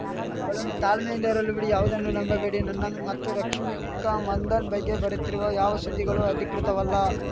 ಅವಳನ್ನು ತಾಳ್ಮೆಯಿಂದ ಇರಲು ಬಿಡಿ ಯಾವುದನ್ನೂ ನಂಬಬೇಡಿ ನನ್ನ ಮತ್ತು ರಶ್ಮಿಕಾ ಮಂದಣ್ಣ ಬಗ್ಗೆ ಬರುತ್ತಿರುವ ಯಾವ ಸುದ್ದಿಗಳೂ ಅಧಿಕೃತವಲ್ಲ